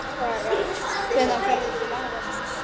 Hvenær ferðu til afa þíns?